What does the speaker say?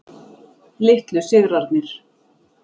Litlu sigrarnir.